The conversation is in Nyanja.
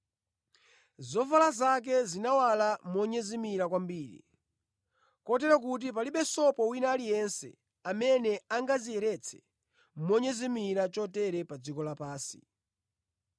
Zovala zake zinawala monyezimira kwambiri, kotero kuti palibe sopo wina aliyense amene angaziyeretse monyezimira chotere pa dziko la pansi.